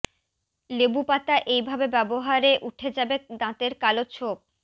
লেবু পাতা এইভাবে ব্যাবহারে উঠে যাবে দাঁতের কালো ছোপ